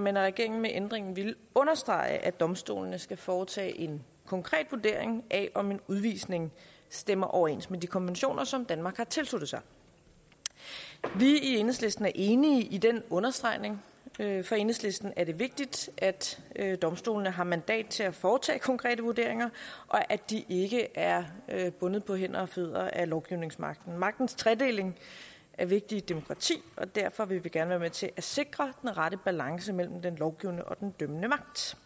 men at regeringen med ændringen ville understrege at domstolene skal foretage en konkret vurdering af om en udvisning stemmer overens med de konventioner som danmark har tilsluttet sig vi i enhedslisten er enige i den understregning for enhedslisten er det vigtigt at at domstolene har mandat til at foretage konkrete vurderinger og at de ikke er er bundet på hænder og fødder af lovgivningsmagten magtens tredeling er vigtig i et demokrati og derfor vil vi gerne være med til at sikre den rette balance mellem den lovgivende og den dømmende magt